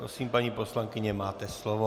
Prosím, paní poslankyně, máte slovo.